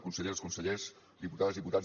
conselleres consellers diputades i diputats